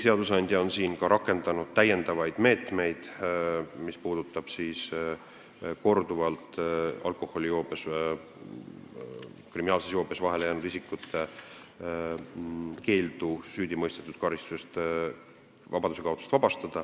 Seadusandja on siin rakendanud täiendavaid meetmeid, mis puudutavad keeldu vabastada korduvalt kriminaalses joobes vahele jäänud isik vabaduskaotuslikust karistusest.